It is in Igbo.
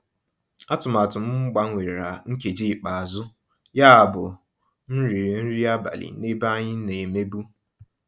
Àtụ̀màtụ́ m gbanwèrà nkèjí íkpe àzụ́, yábụ́ m rị́rị́ nrí àbálị́ n'èbé ànyị́ ná-èmèbú.